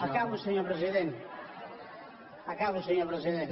acabo senyor president acabo senyor president